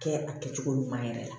Kɛ a kɛcogo ɲuman yɛrɛ la